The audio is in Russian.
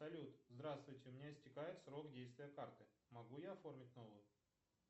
салют здравствуйте у меня истекает срок действия карты могу я оформить новую